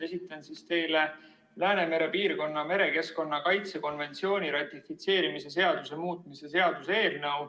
Esitan teile Läänemere piirkonna merekeskkonna kaitse konventsiooni ratifitseerimise seaduse muutmise seaduse eelnõu.